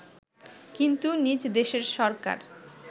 কিন্তু নিজ দেশের সরকার